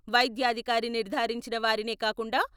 వైద్యాధికారి నిర్ధారించిన వారినే కాకుండా...